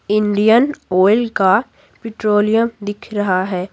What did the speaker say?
Indian Oil का petroleum दिख रहा है।